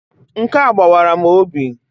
Nkea gbawara m obi.